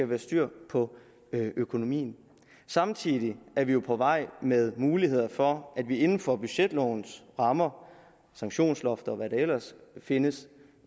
være styr på økonomien samtidig er vi jo på vej med muligheder for at vi inden for budgetlovens rammer sanktionslofter og hvad der ellers findes